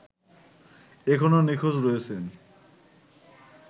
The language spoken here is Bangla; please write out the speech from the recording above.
এখনো নিখোঁজ রয়েছেন